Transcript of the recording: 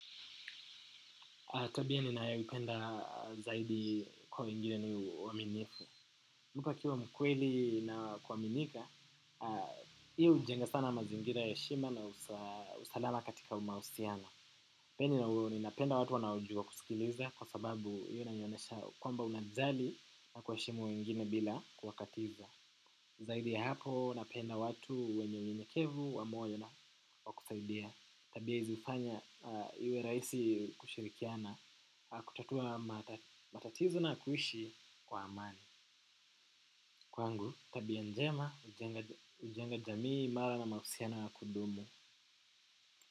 Tabia ninayo ipenda zaidi kwa wengine ni uaminifu. Mtu akiwa mkweli na kuaminika, hii ujenga sana mazingira ya heshima na usalama katika umausiano. Pia ninapenda watu wanaoujua kusikiliza kwa sababu iyo inanionyesha kwamba unajali na kuwaheshimu wengine bila kuwakatiza. Zaidi ya hapo napenda watu wenye unyenyekevu, wa moyo na wakusaidia. Tabia izi ufanya iwe raisi kushirikiana aah kutatua matatizo na kuishi kwa amani. Kwangu tabia njema ujenga jamii mara na mahusiana ya kudumu.